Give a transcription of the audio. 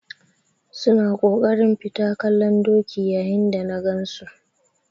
Su na kokarin fita kallon doki yayin da na gan su.